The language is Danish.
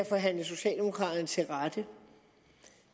forhandle socialdemokraterne til rette